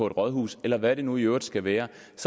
et rådhus eller hvad det nu i øvrigt skal være